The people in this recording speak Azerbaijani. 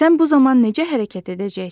Sən bu zaman necə hərəkət edəcəksən?